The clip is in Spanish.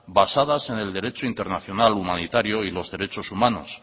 basadas en el derecho internacional humanitario y los derechos humanos